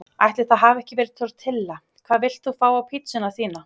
Ætli það hafi ekki verið tortilla Hvað vilt þú fá á pizzuna þína?